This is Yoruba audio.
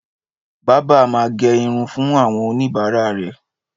Bábà ma ge irun fún àwọn oníbàárà rè